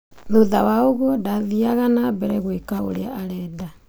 Thutha wa ũguo :ndathiaga na mbere gwika ũria arenda.